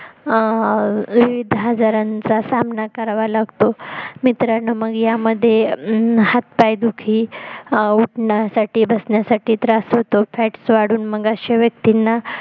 अं विविध आजरांचा सामना करावा लागतो मित्रांनो मग यामध्ये हातपाय दुखी उठण्या साठी बसण्या साठी त्रास होतो fats वाढून मग अश्या व्यक्तींना